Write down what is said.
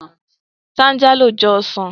Táńjálò jọ ọsàn